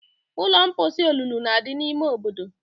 Ụlọ mposi olulu na-adị n'ime obodo